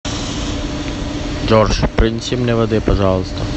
джордж принеси мне воды пожалуйста